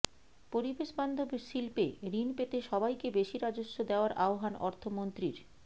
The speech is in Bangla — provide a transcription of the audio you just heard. পরিবেশবান্ধব শিল্পে ঋণ পেতে সবাইকে বেশি রাজস্ব দেওয়ার আহ্বান অর্থমন্ত্রীর